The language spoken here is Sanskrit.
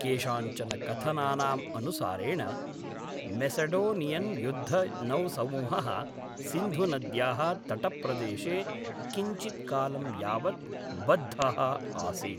केषाञ्चन कथनानाम् अनुसारेण, मेसडोनियन्युद्धनौसमूहः सिन्धुनद्याः तटप्रदेशे किञ्चित्कालं यावत् बद्धः आसीत्।